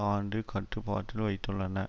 ஆண்டு கட்டுப்பாட்டில் வைத்துள்ளன